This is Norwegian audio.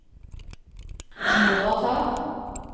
overtar